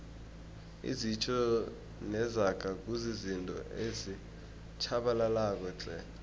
izitjho nezaga kuzizinto ezitjhabalalako tle